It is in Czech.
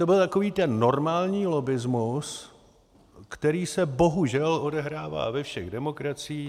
To byl takový ten normální lobbismus, který se bohužel odehrává ve všech demokraciích.